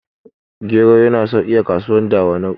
gero yana sauki a kasuwar dawanau